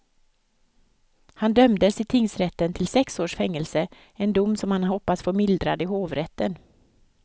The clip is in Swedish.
Han dömdes i tingsrätten till sex års fängelse, en dom som han hoppas få mildrad i hovrätten.